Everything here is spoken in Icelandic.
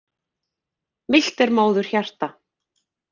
Milt er móðurhjarta.